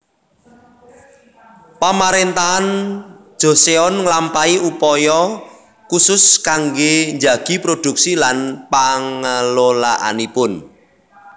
Pamarentahan Joseon nglampahi upaya khusus kanggé njagi produksi lan pangelolaanipun